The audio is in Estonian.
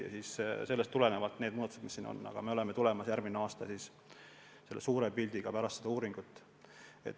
Muudatustega, mis sellest tulenevad, me tuleme suures pildis välja pärast seda uuringut.